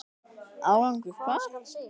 Árangur hvað?